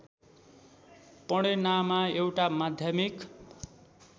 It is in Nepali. पणेनामा एउटा माध्यमिक